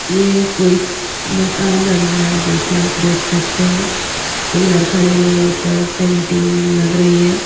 ये कोई मकान बन रहा है जो की आप देख सकते हैं पिलर खड़े हुए ऊपर सेंटिंग लग रही है।